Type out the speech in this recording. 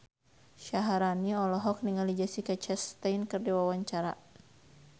Syaharani olohok ningali Jessica Chastain keur diwawancara